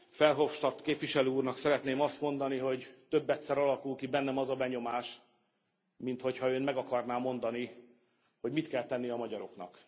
Verhofstadt képviselő úrnak szeretném azt mondani, hogy többedszer alakul ki bennem az a benyomás, minthogyha Ön meg akarná mondani, hogy mit kell tenni a magyaroknak.